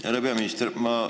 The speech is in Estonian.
Härra peaminister!